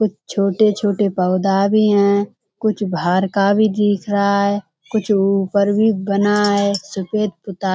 कुछ छोटे-छोटे पौधा भी हैं। कुछ बाहर का भी दिख रहा है। कुछ ऊपर भी बना है सफेद --